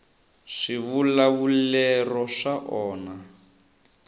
swivulavulero swa onha